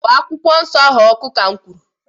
gbaa akwụkwọ nsọ ahụ ọkụ, ka'm kwuru!